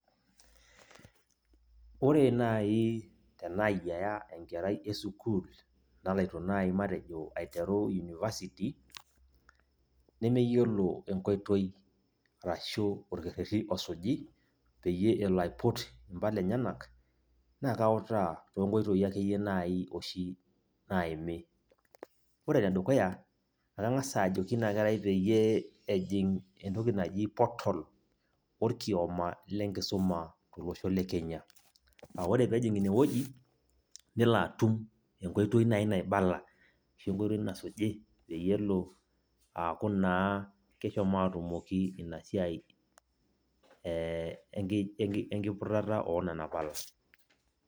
Ore nai tenaayiaya enkerai esukuul naloito nai matejo aiteru unifasiti, nemeyiolo enkoitoi arashu orkerrerri osuji, peyie elo aiput impala enyanak, na kautaa tonkoitoii akeyie nai oshi naimi. Ore enedukuya, nang'asa ajoki inakerai peyie ejing' entoki naji portal orkioma lenkisuma tolosho le Kenya. Ah ore pejing' inewueji, nelio atum enkoitoi nai naibala, ashu enkoitoi nasuji peyie elo aaku naa keshomo atumoki inasiai enkiputata onana pala.